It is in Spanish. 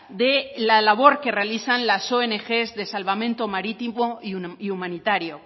de la labor que realizan las ong de salvamento marítimo y humanitario